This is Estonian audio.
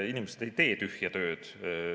Inimesed ei tee tühja tööd.